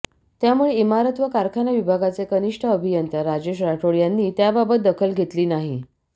त्यामुळे इमारत व कारखाना विभागाचे कनिष्ठ अभियंता राजेश राठोड यांनी त्याबाबत दखल घेतली नाही